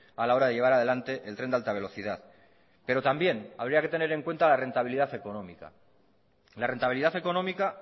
a la hora de llevar adelante el tren de alta velocidad pero también habría que tener en cuenta la rentabilidad económica la rentabilidad económica